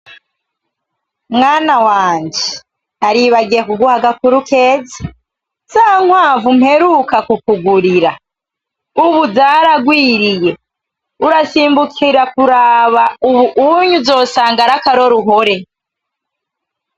Mwana wanje, naribagiye kuguha agakuru keza, za nkwavu mperuka kukugurira ubu zaragwiriye, urasimbukira kuraba ubu unye uzosanga ari akaroruhore.